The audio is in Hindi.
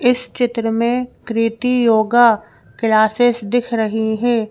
इस चित्र में कृति योगा क्लासेस दिख रही हैं।